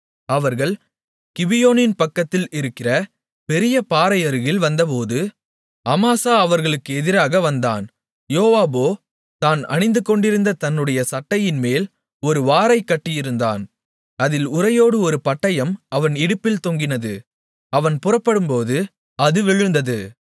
அவர்கள் கிபியோனின் பக்கத்தில் இருக்கிற பெரிய பாறை அருகில் வந்தபோது அமாசா அவர்களுக்கு எதிராக வந்தான் யோவாபோ தான் அணிந்துகொண்டிருக்கிற தன்னுடைய சட்டையின்மேல் ஒரு வாரைக் கட்டியிருந்தான் அதில் உறையோடு ஒரு பட்டயம் அவன் இடுப்பில் தொங்கினது அவன் புறப்படும்போது அது விழுந்தது